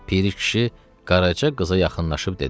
Piri kişi Qaraca qıza yaxınlaşıb dedi: